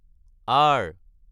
R